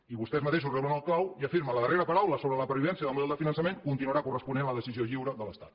i vostès mateixos reblen el clau i afirmen la darrera paraula sobre la pervivència del model de finançament continuarà corresponent a la decisió lliure de l’estat